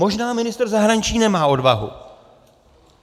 Možná ministr zahraničí nemá odvahu.